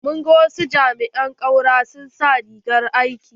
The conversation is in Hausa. Mun gan wasu jami'in ƙaura sun sa rigar aiki.